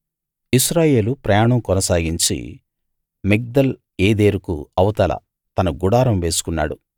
ఇశ్రాయేలు ప్రయాణం కొనసాగించి మిగ్దల్‌ ఏదెరుకు అవతల తన గుడారం వేసుకున్నాడు